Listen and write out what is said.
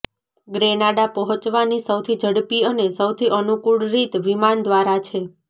Grenada પહોંચવાની સૌથી ઝડપી અને સૌથી અનુકૂળ રીત વિમાન દ્વારા છે